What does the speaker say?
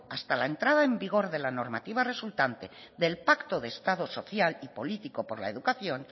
hasta la entrada en vigor de la normativa del pacto de estado social y político por la educación